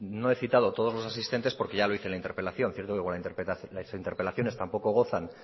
no he citado todos los asistentes porque ya lo hice en la interpelación cierto que como las interpelaciones tampoco gozan